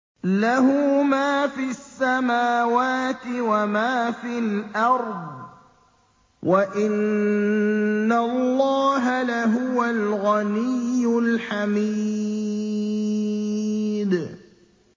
لَّهُ مَا فِي السَّمَاوَاتِ وَمَا فِي الْأَرْضِ ۗ وَإِنَّ اللَّهَ لَهُوَ الْغَنِيُّ الْحَمِيدُ